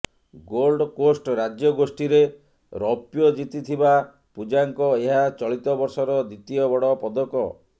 Gold Coast ରାଜ୍ୟଗୋଷ୍ଠୀରେ ରୌପ୍ୟ ଜିତିଥିବା ପୂଜାଙ୍କ ଏହା ଚଳିତ ବର୍ଷର ଦ୍ବିତୀୟ ବଡ଼ ପଦକ